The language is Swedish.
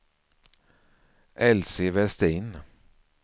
Elsie Vestin